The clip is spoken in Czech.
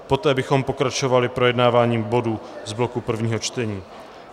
Poté bychom pokračovali projednáváním bodů z bloku prvního čtení.